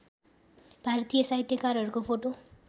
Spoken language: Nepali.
भारतीय साहित्यकारहरूको फोटो